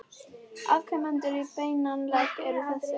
Afkomendur í beinan legg eru þessir